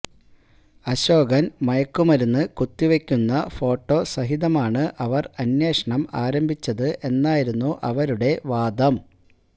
അശോകൻ മയക്കുമരുന്ന് കുത്തിവെക്കുന്ന ഫോട്ടോ സഹിതമാണ് അവർ അന്വേഷണം ആരംഭിച്ചത് എന്നായിരുന്നു അവരുടെ വാദം